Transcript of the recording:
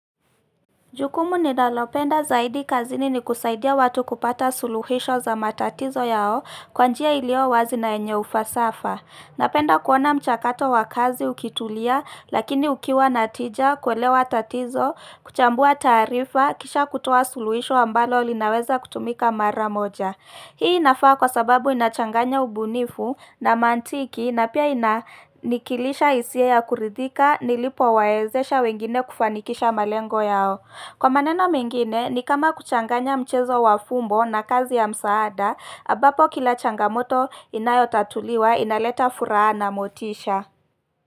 Jukumu ninalopenda zaidi kazini ni kusaidia watu kupata suluhisho za matatizo yao, kwa njia ilio wazi na yenye ufasafa. Napenda kuona mchakato wa kazi ukitulia lakini ukiwa na tija, kuelewa tatizo, kuchambua taarifa, kisha kutoa suluhisho ambalo linaweza kutumika mara moja. Hii inafaa kwa sababu inachanganya ubunifu na mantiki na pia inanikilisha hisia ya kuridhika, nilipowaezesha wengine kufanikisha malengo yao. Kwa maneno mengine, ni kama kuchanganya mchezo wa fumbo na kazi ya msaada, ambapo kila changamoto inayotatuliwa inaleta furaha na motisha.